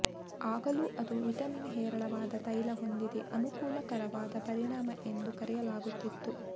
ಆಗಲೂ ಅದು ವಿಟಮಿನ್ ಹೇರಳವಾದ ತೈಲ ಹೊಂದಿದೆ ಅನುಕೂಲಕರವಾದ ಪರಿಣಾಮ ಎಂದು ಕರೆಯಲಾಗುತ್ತಿತ್ತು